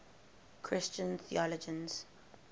christian theologians